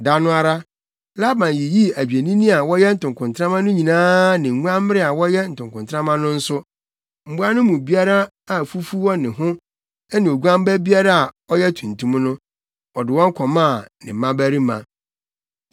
Da no ara, Laban yiyii adwennini a wɔyɛ ntokontrama no nyinaa ne nguanbere a wɔyɛ ntokontrama no nso; mmoa no mu biara a fufu wɔ ne ho ne oguan ba biara a ɔyɛ tuntum no, ɔde wɔn kɔmaa ne mmabarima.